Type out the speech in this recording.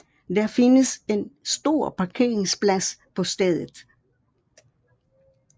Der findes en stor parkeringsplads på stedet